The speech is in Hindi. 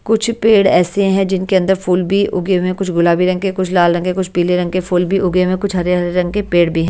कुछ पेड़ ऐसे हैं जिनके अंदर फूल भी उगे हुए हैं कुछ गुलाबी रंग के कुछ लाल रंग के कुछ पीले रंग के फूल भी उगे हुए हैं कुछ हरे-हरे रंग के पेड़ भी--